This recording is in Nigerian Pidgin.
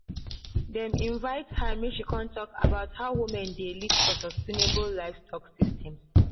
dem invite her make she con talk about how women dey lead for sustainable livestock systems.